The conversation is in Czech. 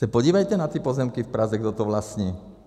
Se podívejte na ty pozemky v Praze, kdo to vlastní.